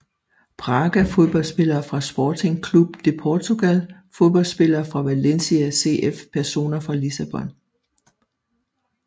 Braga Fodboldspillere fra Sporting Clube de Portugal Fodboldspillere fra Valencia CF Personer fra Lissabon